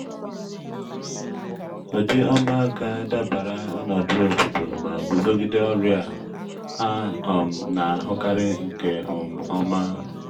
ụdị ọma ga-adabara ọnọdụ obodo ma guzogide ọrịa a um na-ahụkarị nke um ọma.